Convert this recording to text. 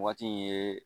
Waati in ye